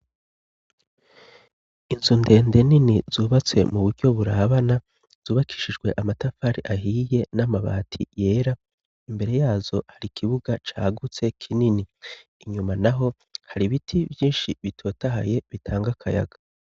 inzu ndende nini zubatse mu buryo burabana zubakishijwe amatafari ahiye n'amabati yera imbere yazo hari kibuga cagutse kinini inyuma naho hari biti vyinshi bitotahaye bitanga kayaga